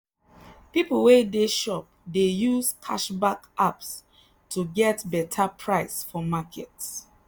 people wey dey shop dey use cashback apps to get better price for market.